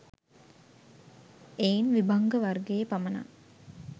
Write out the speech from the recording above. එයින් විභංග වර්ගයේ පමණක්